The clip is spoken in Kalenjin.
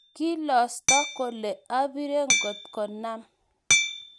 kiilosto kole obire ngot kanam.